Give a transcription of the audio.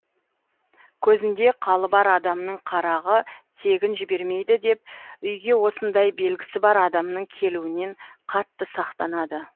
көзінде қалы бар адамның қарағы тегін жібермейді деп үйге осындай белгісі бар адамның келуінен қатты сақтанады